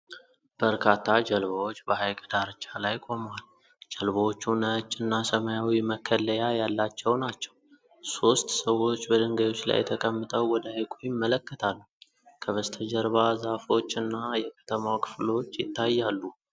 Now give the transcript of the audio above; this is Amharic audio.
በርካታ ጀልባዎች በሀይቅ ዳርቻ ላይ ቆመዋል። ጀልባዎቹ ነጭ እና ሰማያዊ መከለያ ያላቸው ናቸው። ሦስት ሰዎች በድንጋዮች ላይ ተቀምጠው ወደ ሀይቁ ይመለከታሉ። ከበስተጀርባ ዛፎች እና የከተማው ክፍሎች ይታያሉ።